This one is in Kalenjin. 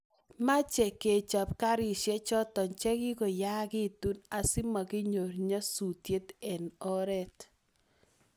meche kechop karishek choto chwgigoyaagitu asimaginyor nyasusiet eng oret